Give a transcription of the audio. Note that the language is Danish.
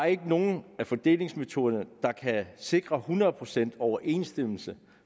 ikke nogen af fordelingsmetoderne der kan sikre hundrede procent overensstemmelse